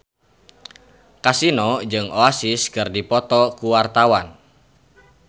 Kasino jeung Oasis keur dipoto ku wartawan